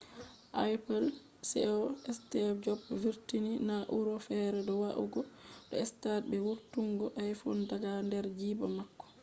apple ceo steve jobs vurtini na’ura fere do va’ugo do stage be vurtungo iphone daga der jiiba mako